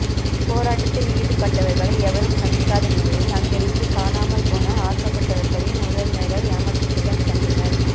அங்கு போராட்டத்தில் ஈடுபட்டவர்களை எவரும் சந்திக்காத நிலையில் அங்கிருந்தும் காணமல் ஆக்கப்பட்டவர்களின் உறவினர்கள் ஏமாற்றத்துடன் சென்றனர்